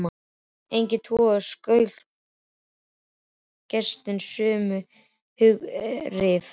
Engin tvö klaustur vekja gestinum sömu hughrif.